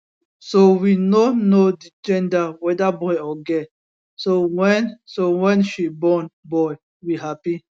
so we no know di gender weda boy or girl so wen so wen she born boy we happy